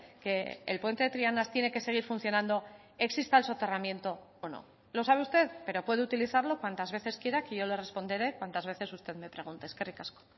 que el puente de trianas tiene que seguir funcionando exista el soterramiento o no lo sabe usted pero puede utilizarlo cuantas veces quiera que yo le responderé cuantas veces usted me pregunte eskerrik asko